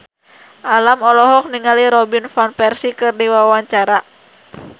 Alam olohok ningali Robin Van Persie keur diwawancara